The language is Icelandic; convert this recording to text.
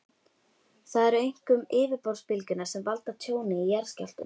Það eru einkum yfirborðsbylgjurnar sem valda tjóni í jarðskjálftum.